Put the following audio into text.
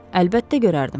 Əlbəttə görərdim.